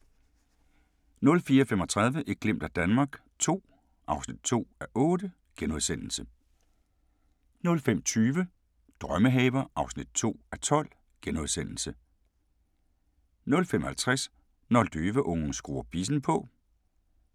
04:35: Et glimt af Danmark II (2:8)* 05:20: Drømmehaver (2:12)* 05:50: Når løveungen skruer bissen på